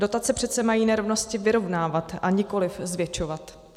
Dotace přece mají nerovnosti vyrovnávat, a nikoliv zvětšovat.